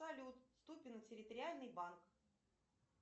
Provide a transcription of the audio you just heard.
салют ступино территориальный банк